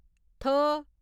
थ